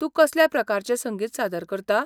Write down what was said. तूं कसल्या प्रकारचें संगीत सादर करता?